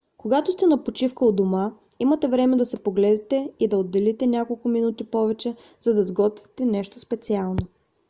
когато сте на почивка у дома имате време да се поглезите и да отделите няколко минути повече за да сготвите нещо специално